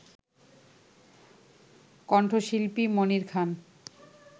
কণ্ঠশিল্পী মনির খান